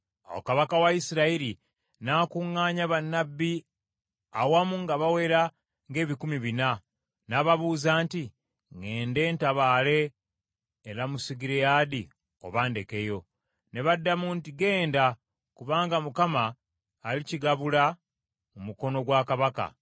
Awo kabaka wa Isirayiri n’akuŋŋaanya bannabbi awamu nga bawera ng’ebikumi bina, n’ababuuza nti, “Ŋŋende ntabaale e Lamosugireyaadi oba ndekeyo?” Ne baddamu nti, “Genda kubanga Mukama alikigabula mu mukono gwa kabaka.”